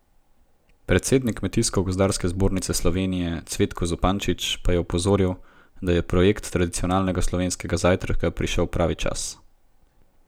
Predsednik Kmetijsko gozdarske zbornice Slovenije Cvetko Zupančič pa je opozoril, da je projekt tradicionalnega slovenskega zajtrka prišel pravi čas.